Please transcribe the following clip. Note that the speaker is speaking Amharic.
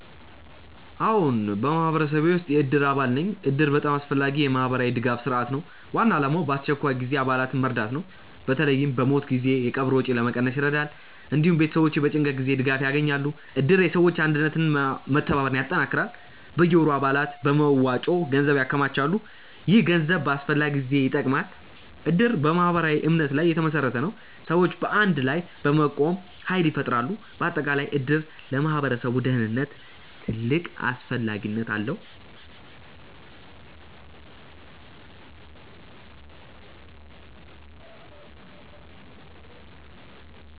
አዎን፣ በማህበረሰቤ ውስጥ የእድር አባል ነኝ እድር በጣም አስፈላጊ የማህበራዊ ድጋፍ ስርዓት ነው። ዋና ዓላማው በአስቸኳይ ጊዜ አባላትን መርዳት ነው። በተለይ በሞት ጊዜ የቀብር ወጪ ለመቀነስ ይረዳል። እንዲሁም ቤተሰቦች በጭንቀት ጊዜ ድጋፍ ያገኛሉ። እድር የሰዎች አንድነትን እና መተባበርን ያጠናክራል። በየወሩ አባላት በመዋጮ ገንዘብ ያከማቻሉ። ይህ ገንዘብ በአስፈላጊ ጊዜ ይጠቅማል። እድር በማህበራዊ እምነት ላይ የተመሰረተ ነው። ሰዎች በአንድ ላይ በመቆም ኃይል ይፈጥራሉ። በአጠቃላይ እድር ለማህበረሰብ ደህንነት ትልቅ አስፈላጊነት አለው።